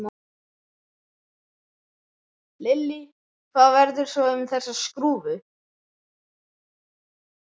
Lillý: Hvað verður svo um þessa skrúfu?